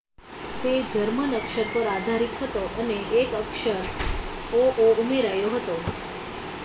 "તે જર્મન અક્ષર પર આધારિત હતો અને એક અક્ષર "õ/õ" ઉમેરાયો હતો.